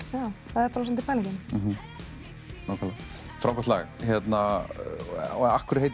það er svolítið pælingin frábært lag og af hverju